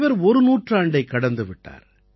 இவர் ஒரு நூற்றாண்டைக் கடந்து விட்டார்